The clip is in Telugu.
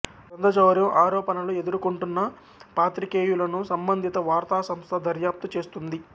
గ్రంథచౌర్యం ఆరోపణలు ఎదుర్కొంటున్న పాత్రికేయులను సంబంధిత వార్తా సంస్థ దర్యాప్తు చేస్తుంది